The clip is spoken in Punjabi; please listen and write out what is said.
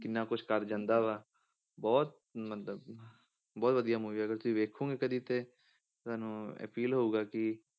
ਕਿੰਨਾ ਕੁਛ ਕਰ ਜਾਂਦਾ ਵਾ, ਬਹੁਤ ਮਤਲਬ ਕਿ ਬਹੁਤ ਵਧੀਆ movie ਆ ਅਗਰ ਤੁਸੀਂ ਵੇਖੋਂਗੇ ਕਦੇ ਤੇ ਤੁਹਾਨੂੰ ਇਹ feel ਹੋਊਗਾ ਕਿ